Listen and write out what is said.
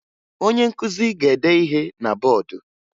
Onye nkụzi ga-ede ihe na bọọdụ